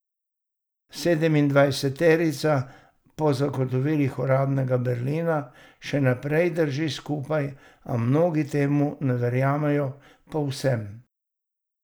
Sedemindvajseterica po zagotovilih uradnega Berlina še naprej drži skupaj, a mnogi temu ne verjamejo povsem.